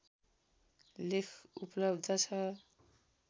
लेख उपलब्ध छ